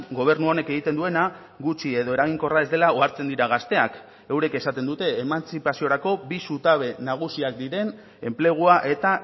gobernu honek egiten duena gutxi edo eraginkorra ez dela ohartzen dira gazteak eurek esaten dute emantzipaziorako bi zutabe nagusiak diren enplegua eta